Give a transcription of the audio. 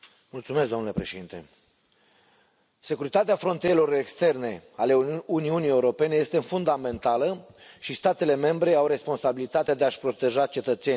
Domnule președinte, securitatea frontierelor externe ale Uniunii Europene este fundamentală și statele membre au responsabilitatea de a și proteja cetățenii.